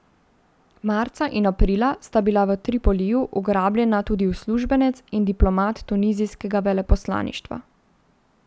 Marca in aprila sta bila v Tripoliju ugrabljena tudi uslužbenec in diplomat tunizijskega veleposlaništva.